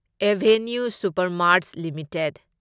avenue Supermarts limited